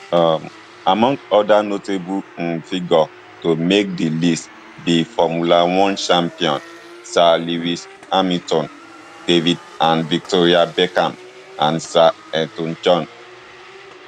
um among oda notable um figures to make di list be formula one champion sir lewis hamilton david and victoria beckham and sir elton john